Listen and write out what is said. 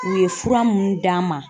U ye fura munnu d'an ma